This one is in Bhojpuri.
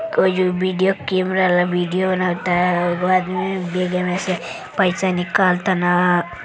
कोई विडियो कैमरा वाला विडियो बनाव तन। एगो आदमी बेगे में से पैसा निकाल तन।